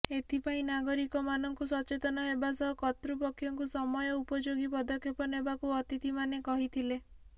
ଏଥିପାଇଁ ନାଗରିକମାନଙ୍କୁ ସଚେତନ ହେବା ସହ କର୍ତ୍ତୃପକ୍ଷଙ୍କୁ ସମୟ ଉପଯୋଗୀ ପଦକ୍ଷେପ ନେବାକୁ ଅତିଥିମାନେ କହିଥିଲେ